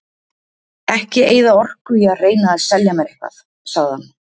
Ekki eyða orku í að reyna að selja mér eitthvað, sagði hann.